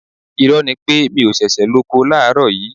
Irọ́ ni pé mi ò ṣiṣẹ́ lóko láàárọ̀ yìí